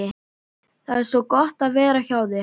Það er svo gott að vera hjá þér.